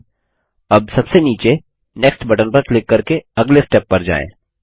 ठीक हैअब सबसे नीचे नेक्स्ट बटन पर क्लिक करके अगले स्टेप पर जाएँ